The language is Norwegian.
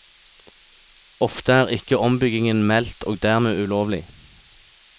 Ofte er ikke ombyggingen meldt og dermed ulovlig.